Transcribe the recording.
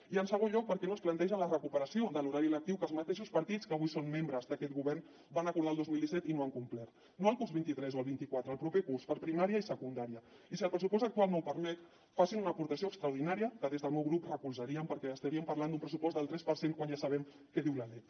i en segon lloc per què no es planteja la recuperació de l’horari lectiu que els mateixos partits que avui són membres d’aquest govern van acordar el dos mil disset i no han complert no el curs vint tres o el vint quatre el proper curs per a primària i secundària i si el pressupost actual no ho permet facin una aportació extraordinària que des del meu grup recolzaríem perquè estaríem parlant d’un pressupost del tres per cent quan ja sabem què diu la lec